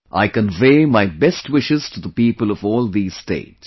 I convey my best wishes to the people of all these states